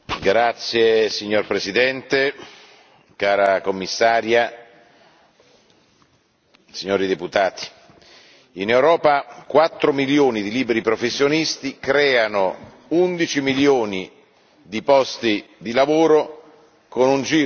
Signor Presidente, onorevoli colleghi, cara Commissaria, in Europa 4 milioni di liberi professionisti creano 11 milioni di posti di lavoro, con un giro d'affari